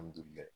Alihamudulila